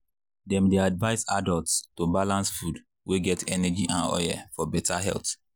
dem dey advise adults to balance food wey get energy and oil for better health.